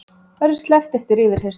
Verður sleppt eftir yfirheyrslu